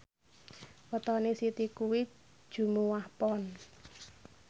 wetone Siti kuwi Jumuwah Pon